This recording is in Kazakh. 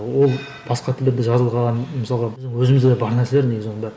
ол басқа тілдерде жазылған мысалға өзімізде бар нәрселер негізі оның бәрі